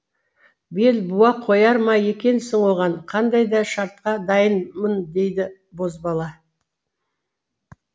бел буа қояр ма екенсің оған қандай да шартқа дайынмын деді бозбала